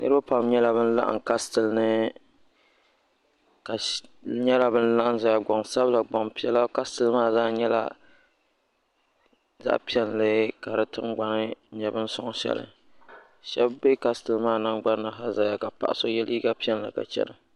Niriba pam nyɛla bin laɣim kastil ni niriba nyɛla ban laɣim zaya gbansabla gbampiɛla kastil maa zaa nyɛla zaɣa piɛlli ka di tingbani nyɛ bini soŋ sheli sheba be kastil maa nangbani ha zaya ka paɣa so ye liiga piɛlli ka chena.